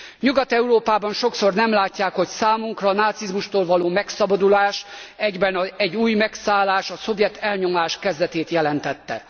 Nyugat Európában sokszor nem látják, hogy számunkra a nácizmustól való megszabadulás egyben egy új megszállás, a szovjet elnyomás kezdetét jelentette.